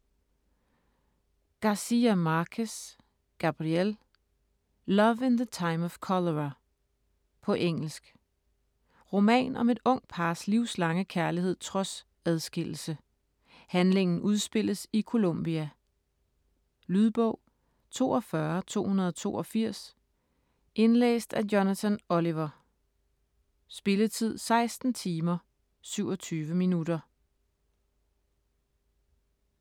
Garcia Marquez, Gabriel: Love in the time of cholera På engelsk. Roman om et ungt pars livslange kærlighed trods adskillelse. Handlingen udspilles i Colombia. Lydbog 42282 Indlæst af Jonathan Oliver Spilletid: 16 timer, 27 minutter.